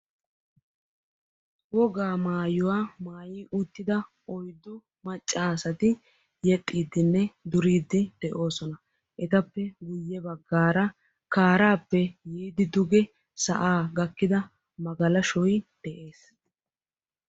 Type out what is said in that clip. Woga maayyuwa maayyi uttida oyddu maccasati yexxidinne duride de'oosona. Etappe guyye baggaara kaarappe biidi sa'aa gakkida magalashshoy de'ees.